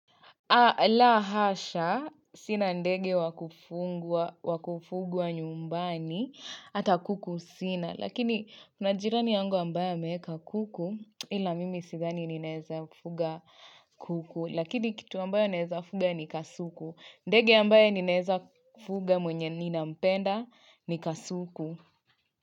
Aah la hasha, sina ndege wakufugwa nyumbani, hata kuku sina. Lakini, mna jirani yangu ambaye ameeka kuku, ila mimi sidhani ninaeza fuga kuku. Lakini, kitu ambayo ninaeza fuga ni kasuku. Ndege ambaye ninaeza fuga mwenye ninampenda ni kasuku.